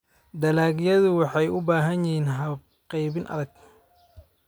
dalagyadu waxay u baahan yihiin habab qaybin adag.